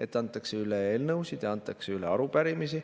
et antakse üle eelnõusid ja antakse üle arupärimisi.